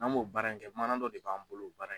N'an m'o baara in kɛ mana dɔ de b'an bolo.